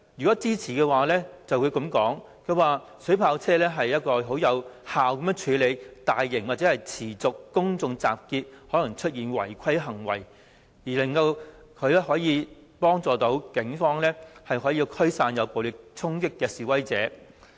支持者會說，水炮車能有效控制大型或持續公眾集結而可能導致的違規行為，幫助警方驅散作出暴力衝擊的示威者。